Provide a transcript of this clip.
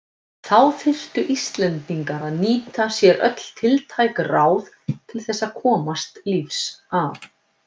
Þá þurftu Íslendingar að nýta sér öll tiltæk ráð til þess að komast lífs af.